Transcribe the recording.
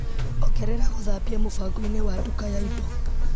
Ongerera gũthambia mũbango-inĩ wa nduka ya indo.